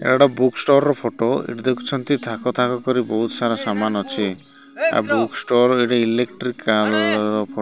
ଏଟା ଗୋଟେ book store ର ଫଟ । ଏଠି ଦେଖୁଛନ୍ତି ଥାକ ଥାକ କରି ବୋହୁତ ସାରା ସାମାନ ଅଛି। ଆଉ ବୁକ୍ ଷ୍ଟୋର ଏଠି ଇଲେକ୍ଟ୍ରିକାଲ ର ଫ --